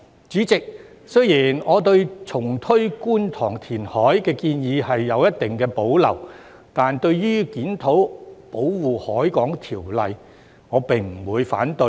主席，雖然我對重推觀塘填海的建議有一定保留，但對於檢討《保護海港條例》，我不會反對。